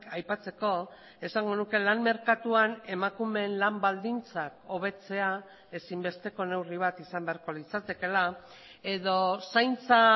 aipatzeko esango nuke lan merkatuan emakumeen lan baldintzak hobetzea ezinbesteko neurri bat izan beharko litzatekeela edo zaintza